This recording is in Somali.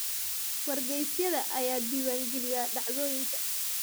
Wargeysyada ayaa diiwaangeliya dhacdooyinka.